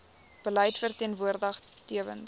beleid verteenwoordig tewens